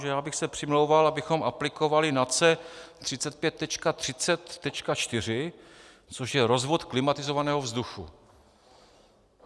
Takže já bych se přimlouval, abychom aplikovali NACE 35.30.4, což je rozvod klimatizovaného vzduchu.